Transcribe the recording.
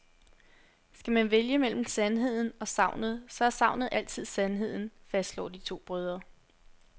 Skal man vælge mellem sandheden og sagnet, så er sagnet altid sandheden, fastslår de to brødre.